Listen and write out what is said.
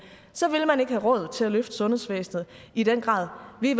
så vil man ikke have råd til at løfte sundhedsvæsenet i den grad vi